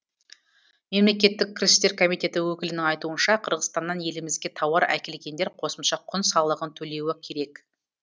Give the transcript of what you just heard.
мемлекеттік кірістер комитеті өкілінің айтуынша қырғызстаннан елімізге тауар әкелгендер қосымша құн салығын төлеуі керек